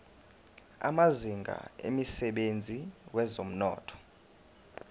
amazinga emsebenzini wezomnotho